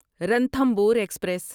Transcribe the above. Ranthambore express